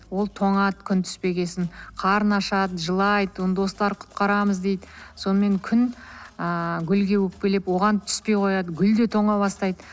ол тоңады күн түспеген соң қарны ашады жылайды оны достары құтқарамыз дейді сонымен күн ыыы гүлге өкпелеп оған түспей қояды гүл де тоңа бастайды